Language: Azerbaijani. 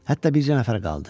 Hətta bircə nəfər qaldı.